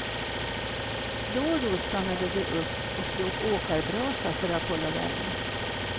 Då och då stannade de upp och slog åkarbrasa för att hålla värmen.